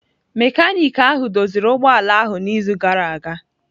Mekaniki ahụ doziri ụgbọ ala ahụ n'izu gara aga.